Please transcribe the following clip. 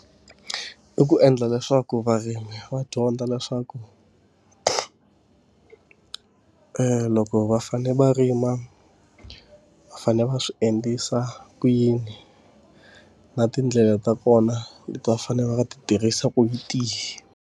I ku endla leswaku varimi va dyondza leswaku loko va fanele va rima, va fanele va swi endlisa ku yini. Na tindlela ta kona leti va fanele va nga ti tirhisa ku hi tihi.